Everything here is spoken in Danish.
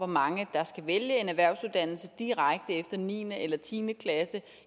mange der skal vælge en erhvervsuddannelse direkte efter niende eller tiende klasse